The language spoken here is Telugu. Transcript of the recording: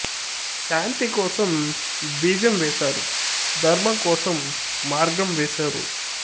శాంతి కోసం బీజం వేశారు ధర్మం కోసం మార్గం వేశారు